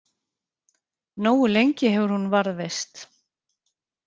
Nógu lengi hefur hún varðveist.